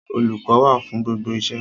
Olùkọ́ wà fún gbogbo iṣẹ́.